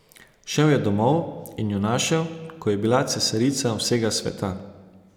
Šel je domov in jo našel, ko je bila cesarica vsega sveta.